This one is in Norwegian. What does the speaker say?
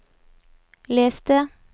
les det